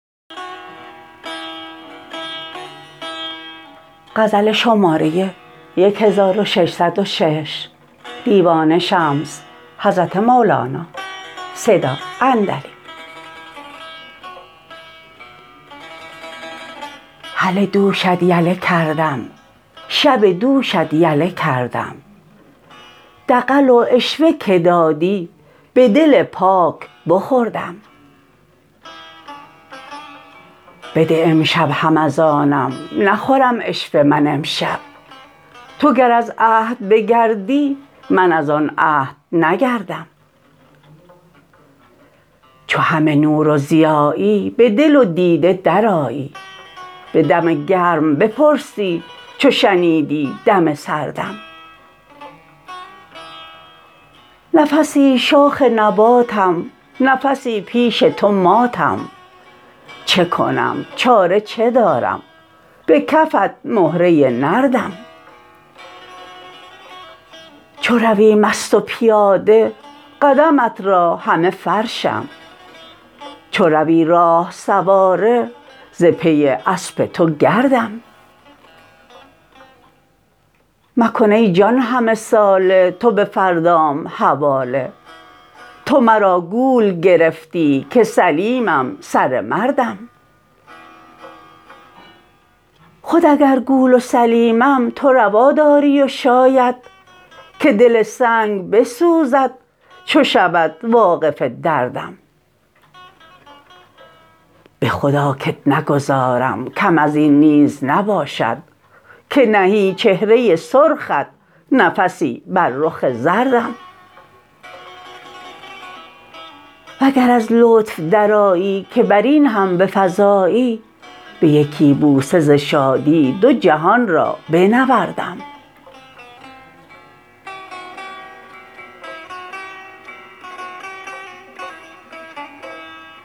هله دوشت یله کردم شب دوشت یله کردم دغل و عشوه که دادی به دل پاک بخوردم بده امشب هم از آنم نخورم عشوه من امشب تو گر از عهد بگردی من از آن عهد نگردم چو همه نور و ضیایی به دل و دیده درآیی به دم گرم بپرسی چو شنیدی دم سردم نفسی شاخ نباتم نفسی پیش تو ماتم چه کنم چاره چه دارم به کفت مهره نردم چو روی مست و پیاده قدمت را همه فرشم چو روی راه سواره ز پی اسب تو گردم مکن ای جان همه ساله تو به فردام حواله تو مرا گول گرفتی که سلیمم سره مردم خود اگر گول و سلیمم تو روا داری و شاید که دل سنگ بسوزد چو شود واقف دردم به خدا کت نگذارم کم از این نیز نباشد که نهی چهره سرخت نفسی بر رخ زردم وگر از لطف درآیی که بر این هم بفزایی به یکی بوسه ز شادی دو جهان را بنوردم فعلاتن فعلاتن فعلاتن فعلاتن تو گمان داشتی ای جان که مگر رفتم و مردم